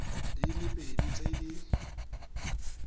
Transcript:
di le pedi tse di